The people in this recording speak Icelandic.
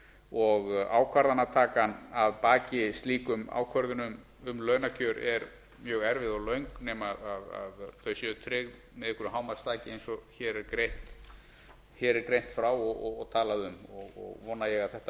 og ákvarðanatakan að baki slíkum ákvörðunum um launakjör er mjög erfið og löng nema þau séu tryggð með einhverju hámarksþaki eins og hér er greint frá og talað um vona ég að þetta